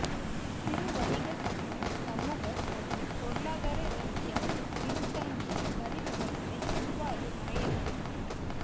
சிறு வணிக சட்டம் சமூக மற்றும் பொருளாதார ரீதியாக பின்தங்கிய தனிநபர்களை எவ்வாறு வரையறுக்கிறது